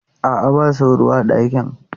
A'a, ba sauro a ɗakin.